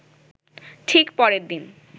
ঠিক পরের দিন